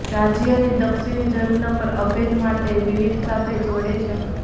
રાજ્યની દક્ષિણી જમીનો પર અભેદ્ય મોટ વિવિધ સાથે જોડે છે